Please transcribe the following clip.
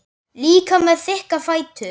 Líka með þykka fætur.